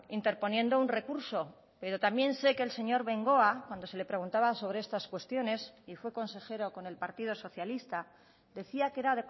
interponiendo un recurso pero también sé que el señor bengoa cuando se le preguntaba sobre estas cuestiones y fue consejero con el partido socialista decía que era